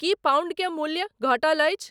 की pound के मूल्य घटल अछि?